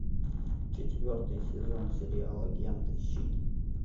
четвертый сезон сериала агенты щит